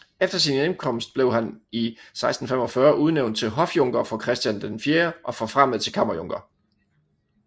Efter sin hjemkomst blev han i 1645 udnævnt til hofjunker for Christian IV og forfremmet til kammerjunker